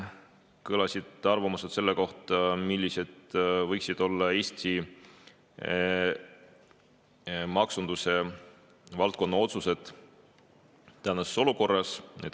Kõlasid arvamused selle kohta, millised võiksid olla Eesti maksundusvaldkonna otsused tänases olukorras.